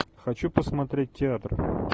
хочу посмотреть театр